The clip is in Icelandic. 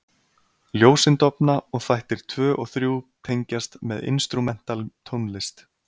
Ljósin dofna og þættir 2 og 3 tengjast með instrumental tónlist.